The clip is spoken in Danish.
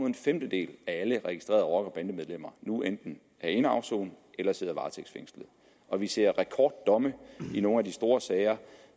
en femtedel af alle registrerede rocker og bandemedlemmer nu enten er inde at afsone eller sidder varetægtsfængslet og vi ser rekorddomme i nogle af de store sager